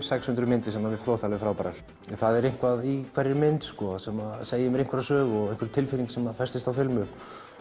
sex hundruð myndir sem mér þóttu alveg frábærar það er eitthvað í hverri mynd sem segir mér einhverja sögu einhver tilfinning sem festist á filmu